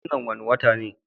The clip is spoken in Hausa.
Wannan wane wata ne?